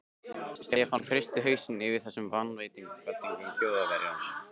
Stefán hristi hausinn yfir þessum vangaveltum Þjóðverjans.